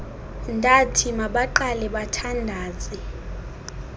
ndathi mabaqale bathandaze